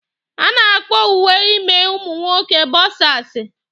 A na-akpọ uwe ime ụmụ nwoke bọksasi